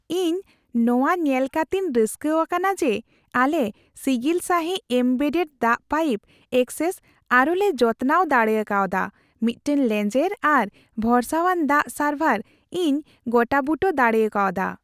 ᱤᱧ ᱱᱚᱣᱟ ᱧᱮᱞ ᱠᱟᱛᱤᱧ ᱨᱟᱹᱥᱠᱟᱹ ᱟᱠᱟᱱᱟ ᱡᱮ, ᱟᱞᱮ ᱥᱤᱜᱤᱞ ᱥᱟᱹᱦᱤᱡ ᱮᱢᱵᱮᱰᱰᱮᱰ ᱫᱟᱜ ᱯᱟᱭᱤᱯ ᱮᱠᱥᱮᱥ ᱟᱨ ᱞᱮ ᱡᱚᱛᱨᱟᱣ ᱫᱟᱲᱮᱠᱟᱣᱫᱟ, ᱢᱤᱫᱴᱟᱝ ᱞᱮᱸᱡᱮᱨ ᱟᱨ ᱵᱷᱚᱨᱥᱟᱣᱟᱱ ᱫᱟᱜ ᱥᱟᱨᱵᱷᱟᱨ ᱤᱧ ᱜᱚᱴᱟᱼᱵᱩᱴᱟᱹ ᱫᱟᱲᱮ ᱠᱟᱣᱫᱟ ᱾